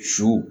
Su